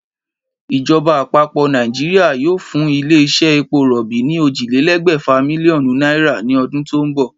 Ìjoba àpapò Nàìjíríà yóò fún ilé isé epo ròbì ní ójìlélé̩gbè̩fà mílíó̩nù náírà ni o̩dún tó n bò̩